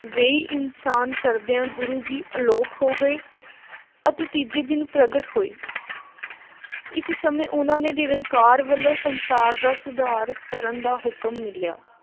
ਵੇਈਂ ਇਸ਼ਨਾਨ ਕਰਦਿਆਂ ਗੁਰੂ ਜੀ ਅਲੋਪ ਹੋ ਗਏ ਅਤੇ ਤੀਜੇ ਦਿਨ ਪ੍ਰਗਟ ਹੋਏ। ਇਸ ਸਮੇਂ ਉਹਨਾ ਨੇ ਨਿਰੰਕਾਰ ਵੱਲੋਂ ਸੰਸਾਰ ਦਾ ਸੁਧਾਰ ਕਰਨ ਦਾ ਹੁਕਮ ਮਿਲਿਆ।